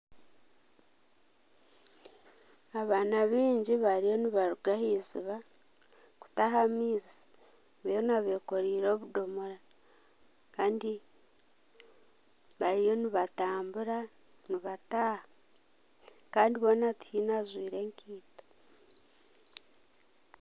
Abaana baingi bariyo nibaruga aha eiziba kutaha amaizi, boona nekoreire obudomora. Kandi bariyo nibatambura nibataaha. Kandi boona tihaine ajwire enkaito.